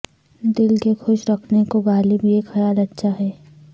دل کے خوش رکھنے کو غالب یہ خیال اچھا ہے